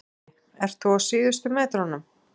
Breki: Ert þú á síðustu metrunum?